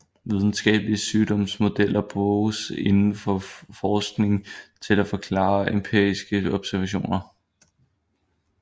Videnskabelige sygdomsmodeller bruges indenfor forskning til at forklare empiriske observationer